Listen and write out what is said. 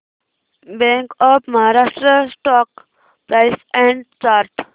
bank of Maharashtra stock price and chart